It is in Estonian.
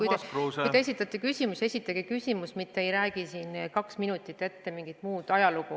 Ja kui te esitate küsimuse, siis esitage küsimus, mitte ärge rääkige siin kaks minutit mingit ajalugu.